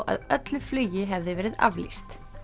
að öllu flugi hefði verið aflýst